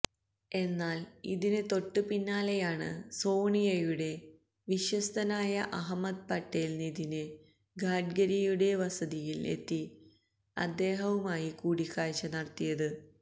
എന്നാല് ഇതിന് തൊട്ട് പിന്നാലെയാണ് സോണിയയുടെ വിശ്വസ്തനായ അഹമ്മദ് പട്ടേല് നിതിന് ഗഡ്ഗരിയുടെ വസതിയില് എത്തി അദ്ദേഹവുമായി കൂടിക്കാഴ്ച നടത്തിയത്